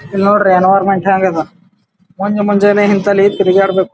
ಇಲ್ಲಿ ನೋಡ್ರಿ ಎನ್ವರ್ನಮೆಂಟ್ ಹೆಂಗ ಇದು ಬಂದಾ ಮುಂಜಾನೆ ತಿರಗಾಡಬೇಕು .